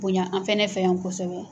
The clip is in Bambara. Bonɲa an fɛnɛ fɛ yan kosɛbɛ.